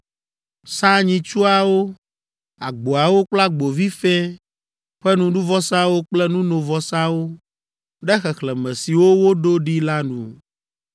Sa nyitsuawo, agboawo kple agbovi fɛ̃ ƒe nuɖuvɔsawo kple nunovɔsawo ɖe xexlẽme siwo woɖo ɖi la nu.